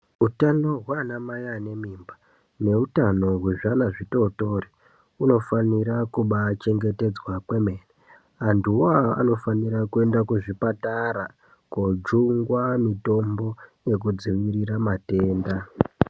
Utano hwaanamai ane mimba, neutano zvezvana zvitotori, hunofanira kubaachengetedzwa kwemene .Antuwo anofanira kuenda kuzvipatara , koojungwa mitombo yekudziirira matenda.